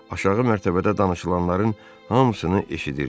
Aşağı mərtəbədə danışılanların hamısını eşidirdi.